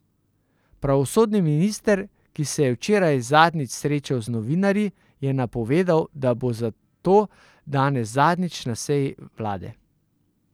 Pravosodni minister, ki se je včeraj zadnjič srečal z novinarji, je napovedal, da bo zato danes zadnjič na seji vlade.